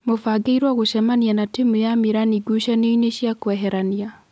Mabangĩirwo gũcemania na timu ya Mirani ngucanioinĩ cia kweherania.